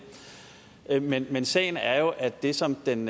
men men sagen er jo at det som den